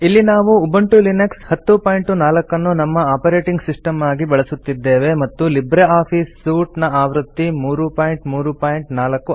ಇಲ್ಲಿ ನಾವು Ubuntu Linux 1004 ನ್ನು ನಮ್ಮ ಒಪೆರಟಿಂಗ್ ಸಿಸ್ಟಮ್ ಆಗಿ ಬಳಸುತ್ತಿದ್ದೇವೆ ಮತ್ತು ಲಿಬ್ರೆ ಆಫೀಸ್ ಸೂಟ್ ನ ಆವೃತ್ತಿ 334